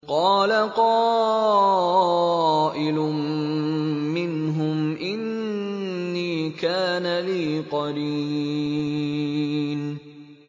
قَالَ قَائِلٌ مِّنْهُمْ إِنِّي كَانَ لِي قَرِينٌ